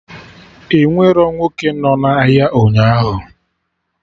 Enwerọ nwoke nọ na ahịa ụnyaahụ